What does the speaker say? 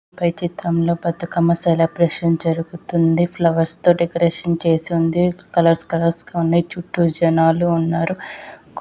పైన చిత్రం పెద్ద సెలబ్రేషన్ జరుగుతుంది. ఫ్లవర్స్ తో డెకొరేషన్ చేసి ఉంది . కలర్స్ కలర్స్ గ ఉన్నాయి చుట్టూ జనాలు ఉన్నారు .